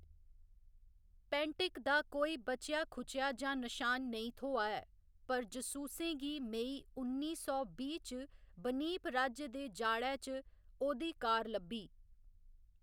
पैंटिक दा कोई बचेआ खुचेआ जां नशान नेईं थ्होआ ऐ, पर जसूसें गी मई उन्नी सौ बीह्‌ च बनीप राज्य दे जाड़ै च ओह्‌‌‌दी कार लब्भी।